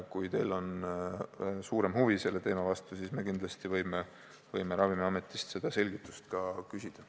Kui teil on suurem huvi selle teema vastu, siis me kindlasti võime Ravimiametist ka seda selgitust küsida.